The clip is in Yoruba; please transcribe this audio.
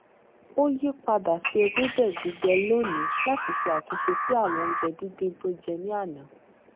ó yí padà sí ewébè gbígbẹ lónìí láti ṣe àtúnṣe sí àwọn oúnjẹ díndín tó jẹ ní àná